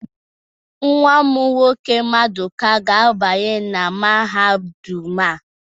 Nwa m nwoke, maduka ga-abanye na mahadum a